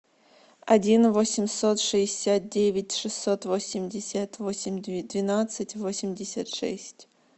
один восемьсот шестьдесят девять шестьсот восемьдесят восемь двенадцать восемьдесят шесть